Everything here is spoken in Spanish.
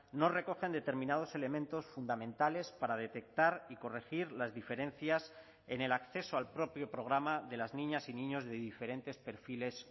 no recogen determinados elementos fundamentales para detectar y corregir las diferencias en el acceso al propio programa de las niñas y niños de diferentes perfiles